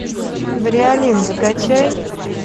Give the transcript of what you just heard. бриалин закачай